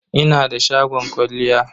Ina da shagon kwalliya.